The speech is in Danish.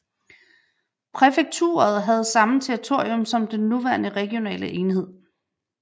Præfekturet havde samme territorium som den nuværende regionale enhed